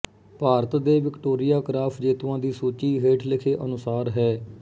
ਭਾਰਤ ਦੇ Victoria Cross ਜੇਤੂਆ ਦੀ ਸੂਚੀ ਹੇਠ ਲਿਖੇ ਅਨੁਸਾਰ ਹੈ